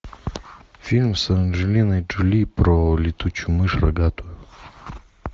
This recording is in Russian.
фильм с анджелиной джоли про летучую мышь рогатую